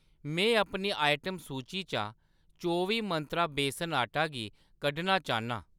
में अपनी आइटम सूची चा चौबी मंत्रा बेसन आटा गी कड्ढना चाह्‌न्नां।